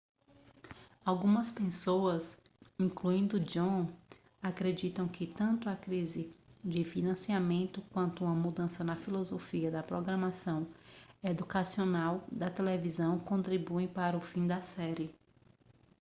algumas pessoas incluindo john grant acreditam que tanto a crise de financiamento quanto uma mudança na filosofia da programação educacional da televisão contribuíram para o fim da série